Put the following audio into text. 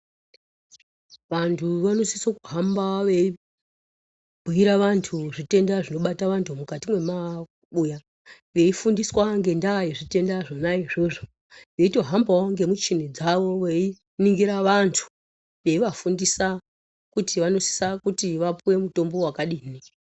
Vantu vanosisa kuhamba vei bhuira vantu zvi tenda zvinobata vantu mukati me mabuya veifundiswa ngenda ye zvitenda zvona i zvozvo veito hambawo ngemichini zvavo vei ningira vantu eiva fundisa kuti vano sisa kuti vapuwe mutombo wakadi.